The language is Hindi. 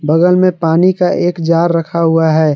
बगल में पानी का एक जार रखा हुआ है।